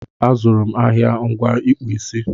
A zụrụ m ahịa ngwa ịkpụ isi